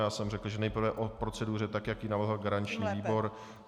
Já jsem řekl, že nejprve o proceduře tak, jak ji navrhl garanční výbor.